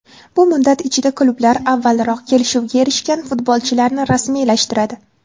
Bu muddat ichida klublar avvalroq kelishuvga erishgan futbolchilarni rasmiylashtiradi.